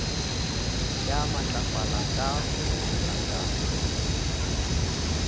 ya matlafala ka roromela ka